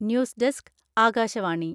news desk Akashvani.............